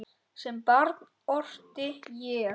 Sem barn orti ég.